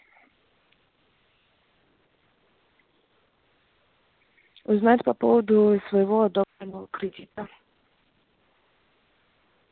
узнать по поводу своего одобренного кредита